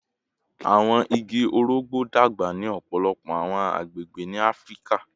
Awọn igi orogbo dagba ni ọpọlọpọ awọn agbegbe ni Afirika